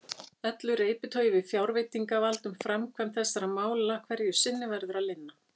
Öllu reiptogi við fjárveitingavald um framkvæmd þessara mála hverju sinni verður að linna.